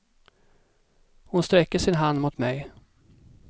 Hon sträcker sin hand mot mig.